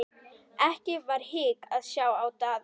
Ekki var hik að sjá á Daða.